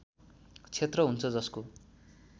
क्षेत्र हुन्छ जसको